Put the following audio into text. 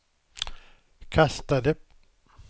kastade